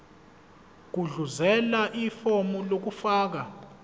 gudluzela ifomu lokufaka